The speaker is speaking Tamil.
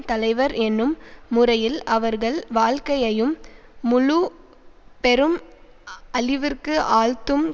தலைவர் என்னும் முறையில் அவர்கள் வாழ்க்கையையும் முழு பெரும் அழிவிற்கு ஆழ்த்தும்